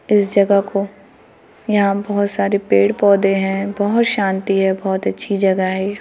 इस जगह को यहां बहुत सारे पेड़ पौधे हैं बहुत शांति है बहुत अच्छी जगह है ये ।